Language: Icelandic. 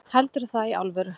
Heldurðu það í alvöru?